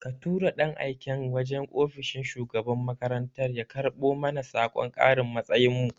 Ka tura ɗan aiken yaje ofishin shugaban makarantar ya karbo mana sakon karin matsayin mu